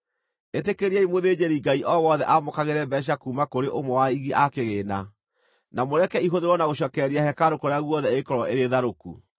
Ĩtĩkĩriai mũthĩnjĩri-Ngai o wothe aamũkagĩre mbeeca kuuma kũrĩ ũmwe wa aigi a kĩgĩĩna, na mũreke ihũthĩrwo na gũcookereria hekarũ kũrĩa guothe ĩngĩkorwo ĩrĩ tharũku.”